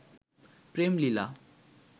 প্রেম লীলা